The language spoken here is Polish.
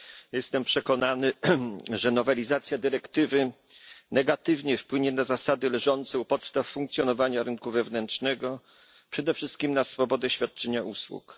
Jestem przekonany, że nowelizacja dyrektywy negatywnie wpłynie na zasady leżące u podstaw funkcjonowania rynku wewnętrznego, przede wszystkim na swobodę świadczenia usług.